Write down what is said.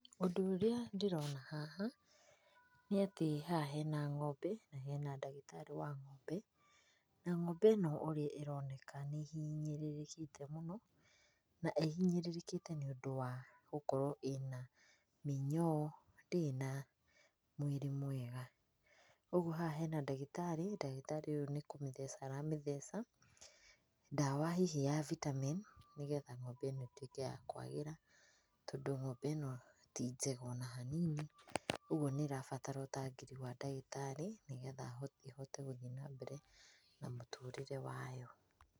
Ũndũ ũrĩa ndĩrona haha, nĩ atĩ haha hena ng'ombe, na hena ndagĩtarĩ wa ng'ombe, na ng'ombe ĩno ũrĩa ĩroneka nĩ ihinyĩrĩrĩkĩte mũno, na ĩhinyĩrĩrĩkĩte nĩ gũkorwo ĩna mĩnyoo, ndĩrĩ na mwĩrĩ mwega, ũguo haha hena ndagĩtarĩ, ndagĩtarĩ ũyũ nĩ kũmĩtheca aramĩtheca ndawa hihi ya vitamin, nĩgetha ndawa ĩno ĩtuĩke ya kwagĩra tondũ ng'ombe ĩno ti njega ona hanini, ũguo nĩ ĩrabatara ũtangĩri wa ndagĩtarĩ nĩgetha ĩhote gũthiĩ nambere na mũtũrĩre wayo.